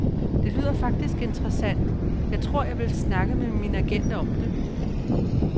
Det lyder faktisk interessant, jeg tror vil snakke med min agent om det.